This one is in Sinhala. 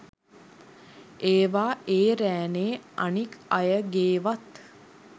ඒවා ඒ රෑනේ අනික් අයගේවත්